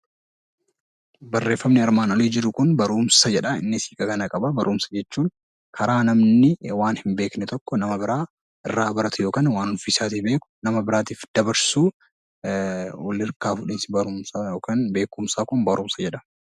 Barreeffamni armaan olii jiru kun barumsa jedha. Innis kana qaba. Barumsa jechuun karaa namni waan hin beekne tokko nama biraa irraa baratu yookaan waan ofiisaatii beeku nama biraatiif dabarsu, wal harkaa fuudhinsa barumsaa yookaan beekumsaa kun barumsa jedhama.